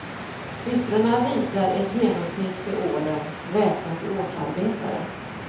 Siffrorna visar ett genomsnitt för åren, räknat i årsarbetare.